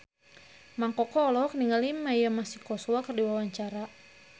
Mang Koko olohok ningali Mia Masikowska keur diwawancara